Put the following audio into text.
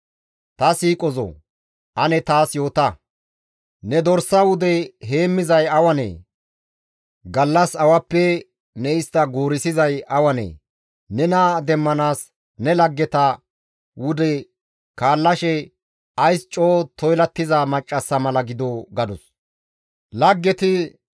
Ta siiqozoo! Ane taas yoota; ne dorsa wude heemmizay awanee? Gallas awappe ne istta guurissizay awanee? Nena demmanaas ne laggeta wude kaallashe ays coo toylattiza maccassa mala gidoo?» gadus.